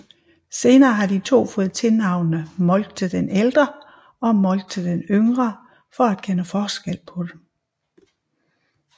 Senere har de to fået tilnavnene Moltke den Ældre og Moltke den Yngre for at kende forskel på dem